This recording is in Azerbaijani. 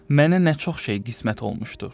mənə nə çox şey qismət olmuşdur.